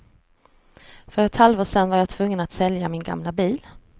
För ett halvår sen var jag tvungen att sälja min gamla bil.